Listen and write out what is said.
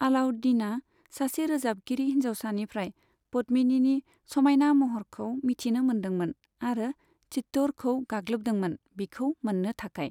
आलाउद्दीनआ सासे रोजाबगिरि हिन्जावसानिफ्राइ पद्मिनिनि समायना महरखौ मिथिनो मोनदोंमोन आरो चित्तौड़खौ गाग्लोबदोंमोन बिखौ मोननो थाखाय।